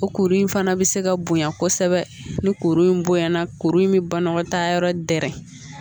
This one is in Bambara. O kuru in fana bɛ se ka bonya kosɛbɛ ni kuru in bonya na kuru in bɛ banakɔtaayɔrɔ dɛrɛ